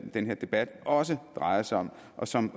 den her debat også drejer sig om og som